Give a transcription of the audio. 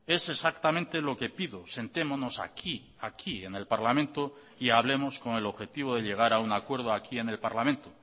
es exactamente lo que pido sentémonos aquí aquí en el parlamento y hablemos con el objetivo de llegar a un acuerdo aquí en el parlamento